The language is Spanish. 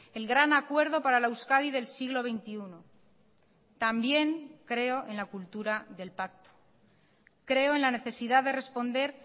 el gran acuerdo para la euskadi del siglo veintiuno también creo en la cultura del pacto creo en la necesidad de responder